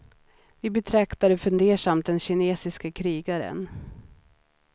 Vi betraktade fundersamt den kinesiske krigaren.